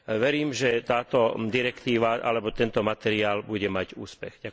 Verím, že táto direktíva alebo tento materiál bude mať úspech.